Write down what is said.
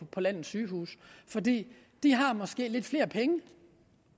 på landets sygehuse for de har måske lidt flere penge